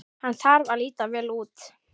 Hann þarf að líta vel út.